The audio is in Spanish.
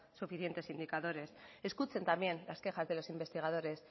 suficientes indicadores escuchen también las quejas de los investigadores